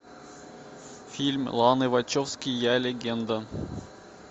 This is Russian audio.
фильм ланы вачовски я легенда